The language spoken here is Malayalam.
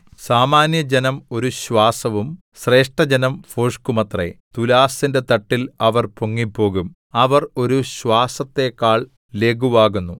സാമാന്യജനം ഒരു ശ്വാസവും ശ്രേഷ്ഠജനം ഭോഷ്കുമത്രേ തുലാസിന്റെ തട്ടിൽ അവർ പൊങ്ങിപ്പോകും അവർ ഒരു ശ്വാസത്തേക്കാൾ ലഘുവാകുന്നു